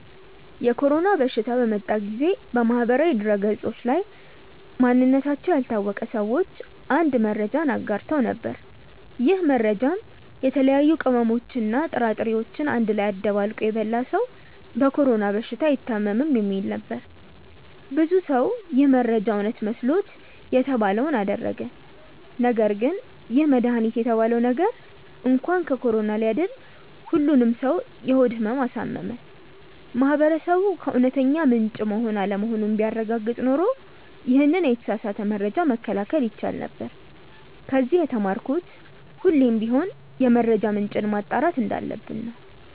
የኮሮና በሽታ በመጣ ጊዜ በማህበራዊ ድህረገጾች ላይ ማንነታቸው ያልታወቀ ሰዎች አንድ መረጃን አጋርተው ነበር። ይህ መረጃም የተለያዩ ቅመሞችን እና ጥራጥሬዎችን አንድ ላይ አደባልቆ የበላ ሰው በኮሮና በሽታ አይታምም የሚል ነበር። ብዙ ሰው ይህ መረጃ እውነት መስሎት የተባለውን አደረገ ነገርግን ይህ መድሃኒት የተባለው ነገር እንኳን ከኮሮና ሊያድን ሁሉንም ሰው የሆድ ህመም አሳመመ። ማህበረሰቡ ከእውነተኛ ምንጭ መሆን አለመሆኑን ቢያረጋግጥ ኖሮ ይሄንን የተሳሳተ መረጃ መከላከል ይቻል ነበር። ከዚ የተማርኩት ሁሌም ቢሆን የመረጃ ምንጭን ማጣራት እንዳለብን ነው።